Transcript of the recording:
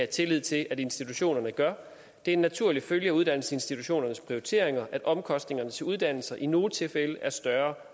tillid til at institutionerne gør det er en naturlig følge af uddannelsesinstitutionernes prioriteringer at omkostningerne til uddannelser i nogle tilfælde er større